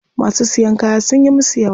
Masu siyan kaya sunyi musu yawa.